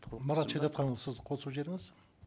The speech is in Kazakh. мұрат шәдетханұлы сіз қосып жіберіңіз